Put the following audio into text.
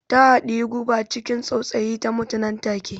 Ta haɗiyi guba ciki tsautsayi, ta mutu nan take.